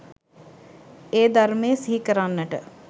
ඒ ධර්මය සිහි කරන්නට